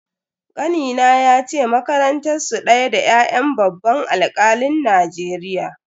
Kanina yace makarantar su daya da ya'yan babban alkalin Najeriya.